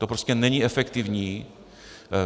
To prostě není efektivní.